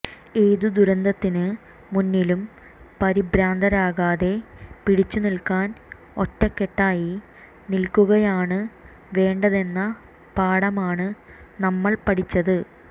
ഏതു ദുരന്തത്തിന് മുന്നിലും പരിഭ്രാന്തരാകാതെ പിടിച്ചു നിൽക്കാൻ ഒറ്റക്കെട്ടായി നിൽക്കുകയാണ് വേണ്ടതെന്ന പാഠമാണ് നമ്മൾ പഠിച്ചത്